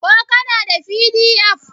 ko kana da pdf?